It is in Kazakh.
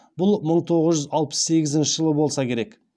бұл мың тоғыз жүз алпыс сегізінші жыл болса керек